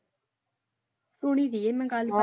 ਕੁੜੀ ਸੀ ਮੈਂ ਕੱਲ।